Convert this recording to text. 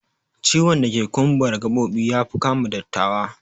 Ciwon dake kumbara gabobi yafi kama dattawa